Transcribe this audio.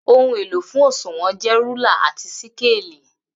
Ohun elo fun òṣùwọ̀n jẹ rúlà àtí síkélì.